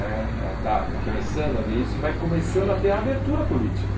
Eh eh está está começando a haver isso e vai começando a ter a abertura política.